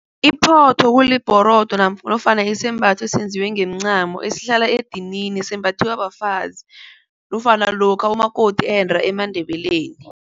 Iphotho kulibhorodo nofana isembatho esenziwe ngomncamo esihlala edinini. Sembathiwa bafazi nofana lokha umakoti ende emaNdebeleni.